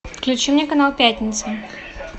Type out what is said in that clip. включи мне канал пятница